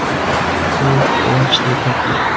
To‘y – quvonchli tadbir.